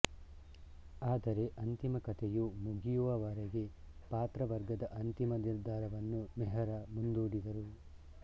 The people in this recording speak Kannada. ಆದರೆ ಅಂತಿಮ ಕಥೆಯು ಮುಗಿಯುವವರೆಗೆ ಪಾತ್ರವರ್ಗದ ಅಂತಿಮ ನಿರ್ಧಾರವನ್ನು ಮೆಹ್ರಾ ಮುಂದೂಡಿದರು